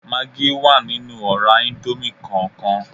Magí wà nínú ọ̀rá íńdómì kọọkan